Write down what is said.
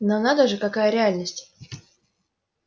но надо же какая реальность